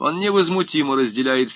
он невозмутимо разделяет